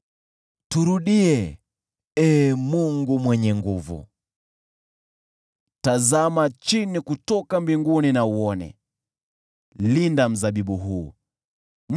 Turudie, Ee Mungu Mwenye Nguvu Zote! Tazama chini kutoka mbinguni na uone! Linda mzabibu huu,